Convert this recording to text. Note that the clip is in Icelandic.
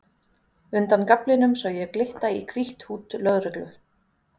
Undan gaflinum sé ég glitta í hvítt húdd lögreglu